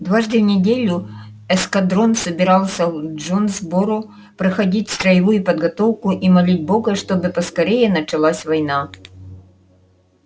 дважды в неделю эскадрон собирался в джонсборо проходить строевую подготовку и молить бога чтобы поскорее началась война